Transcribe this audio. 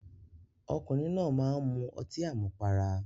Ọkùnrin náà máá ń mu ọtí àmupara